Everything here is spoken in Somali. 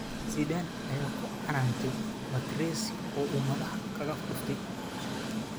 Zidane ayaa ku canaantay Materazzi oo uu madaxa kaga dhuftay.